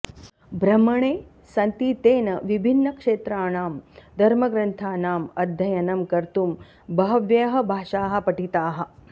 भ्रमणे सति तेन विभिन्नक्षेत्राणां धर्मग्रन्थानाम् अध्ययनं कर्तुं बह्व्यः भाषाः पठिताः